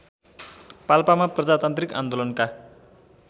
पाल्पामा प्रजातान्त्रिक आन्दोलनका